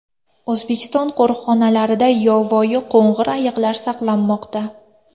O‘zbekiston qo‘riqxonalarida yovvoyi qo‘ng‘ir ayiqlar saqlanmoqda.